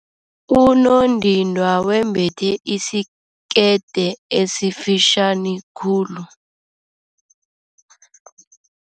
Unondindwa wembethe isikete esifitjhani khulu.